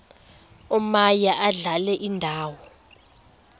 omaye adlale indawo